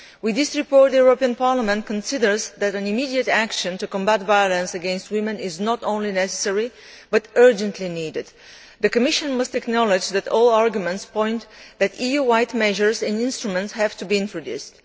This report shows that the European Parliament considers that immediate action to combat violence against women is not only necessary but urgently needed. The Commission must acknowledge that all arguments point to the fact that EU wide measures and instruments have to be introduced.